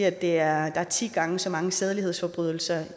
at der er ti gange så mange sædelighedsforbrydelser